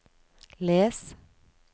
les